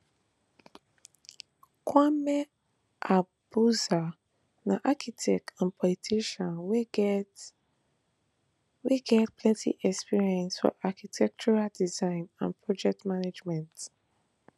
kwame agbodza na architect and politician wey get wey get plenti experience for architectural design and project management